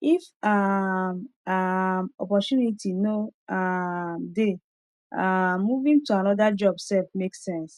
if um um opportunity no um dey um moving to another job sef make sense